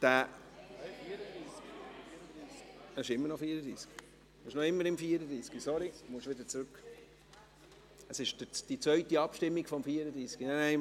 Wer diesen …– Es handelt sich um die zweite Abstimmung zum Traktandum 34.